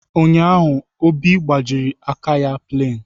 Ụnyaahụ, Obi gbajiri aka ya plain.